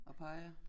Og peger